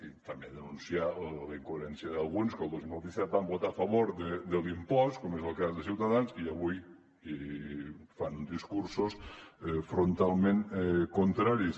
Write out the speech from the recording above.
i també denunciar la incoherència d’alguns que el dos mil disset van votar a favor de l’impost com és el cas de ciutadans i avui fan discursos frontalment contraris